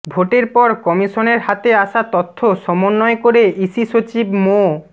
ভোটের পর কমিশনের হাতে আসা তথ্য সমন্বয় করে ইসি সচিব মো